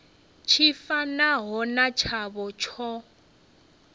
tshi fanaho na tshavho tsho